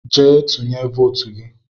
Gaa tụnye votu gị!